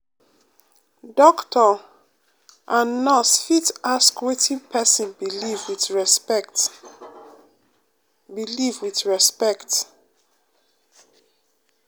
doctor and nurse fit ask wetin pesin believe with respect. believe with respect.